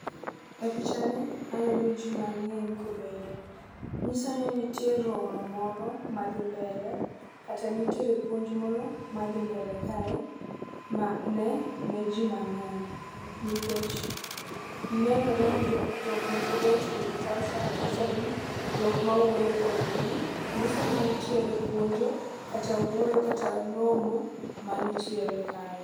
E picha ni aneno ji mang'eny kobedo . Nyisa ni nitie romo moro madhi mbele kata nitie puonj koro madhi mbele kae ma ne ne jii mang'eny. Nikech nenore ni jo jok moko bochung' gi kocha machalo jok mawuoyo kod jii. Nyiso ni nitiere puonjo kata wuoyo kata romo manitiere kae.